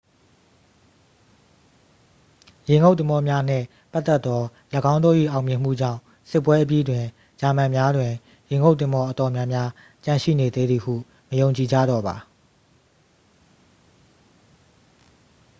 ရေငုပ်သင်္ဘောများနှင့်ပတ်သက်သော ၎င်းတို့၏အောင်မြင်မှုကြောင့် စစ်ပွဲအပြီးတွင် ဂျာမန်များတွင် ရေငုပ်သင်္ဘောအတော်များများကျန်ရှိနေသေးသည်ဟု မယုံကြည်ကြတော့ပါ